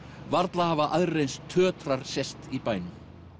varla hafa aðrir eins sést í bænum